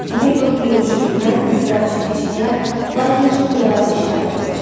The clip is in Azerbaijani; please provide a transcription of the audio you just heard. Mabel İyul şeindən ızdırab çəkə-çəkə, lakin çox nəvazişlə ayrıldı.